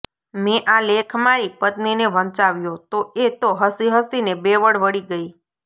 મેં આ લેખ મારી પત્નીને વંચાવ્યો તો એ તો હસીહસીને બેવડ વળી ગઈ